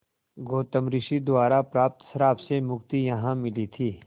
गौतम ऋषि द्वारा प्राप्त श्राप से मुक्ति यहाँ मिली थी